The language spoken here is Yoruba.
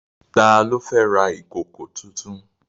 Ta ló fẹ́ ra ìkòkò tuntun?